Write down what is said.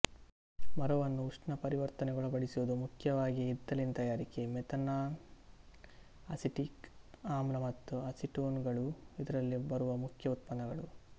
ಮರವನ್ನು ಉಷ್ಣಪರಿವರ್ತನೆಗೊಳಪಡಿಸುವುದು ಮುಖ್ಯವಾಗಿ ಇದ್ದಲಿನ ತಯಾರಿಕೆ ಮೆಥೆನಾಲ್ ಅಸಿಟಿಕ್ ಆಮ್ಲ ಮತ್ತು ಅಸಿಟೋನುಗಳು ಇದರಲ್ಲಿ ಬರುವ ಮುಖ್ಯ ಉಪೋತ್ಪನ್ನಗಳು